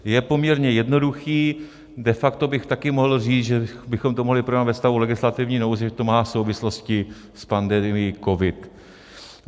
Je poměrně jednoduchý, de facto bych taky mohl říct, že bychom to mohli projednat ve stavu legislativní nouze, že to má souvislosti s pandemií COVID.